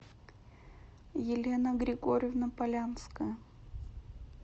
елена григорьевна полянская